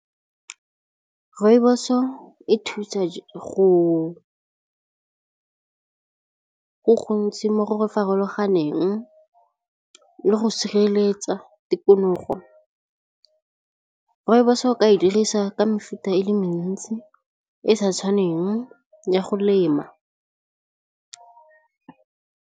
Rooibos-o e thusa go gontsi mo go farologaneng le go sireletsa tikologo, rooibos-o o ka e dirisa ka mefuta e le mentsi e sa tshwaneng ya go lema.